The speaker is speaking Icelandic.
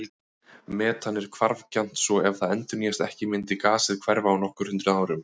Metan er hvarfgjarnt svo ef það endurnýjast ekki myndi gasið hverfa á nokkur hundruð árum.